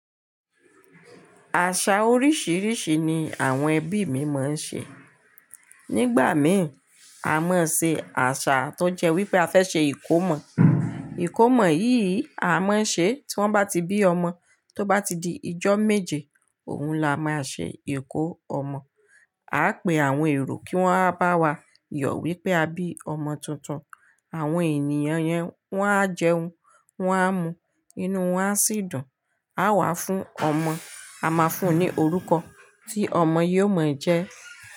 Àṣà oríṣiríṣi ni àwọn ẹbí mi máa ń ṣe. Nígbà mìn a máa ṣe àṣà tó jẹ́ wípé a fẹ́ ṣe ìkómọ. Ìkómọ yìí a máa ń ṣe tí wọ́n bá ti bí ọmọ, tó bá ti di ijọ́ méje, òun la máa n ṣe ìkómọ. Aá pe àwọn èrò kí wọ́n máa bá wa yọ̀ wípé a bí ọmọ tuntun. Àwọn ènìyàn yẹn wọn á jẹun, wọn á mu, inú wọn a sì dùn. A wà fún ọmọ, a máa fún un ní orúkọ tí ọmọ yóò mọ̀ jẹ́